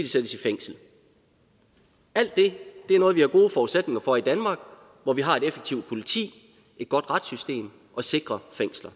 sættes i fængsel alt det er noget vi har gode forudsætninger for i danmark hvor vi har et effektivt politi et godt retssystem og sikre fængsler